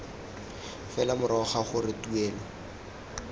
fela morago ga gore tuelo